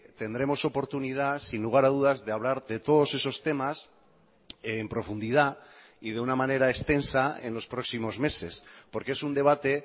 tendremos oportunidad sin lugar a dudas de hablar de todos esos temas en profundidad y de una manera extensa en los próximos meses porque es un debate